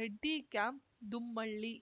Reddy camp Dummalli